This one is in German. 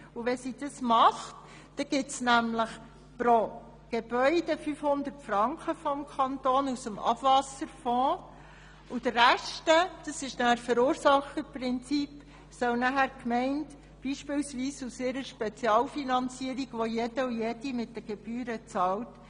Wenn sie das tut, gibt der Kanton pro Gebäude 500 Franken aus dem Abwasserfonds, und den Rest soll nach dem Verursacherprinzip die Gemeinde beispielsweise aus ihrer Spezialfinanzierung decken, welche die Bevölkerung mit den Gebühren bezahlt.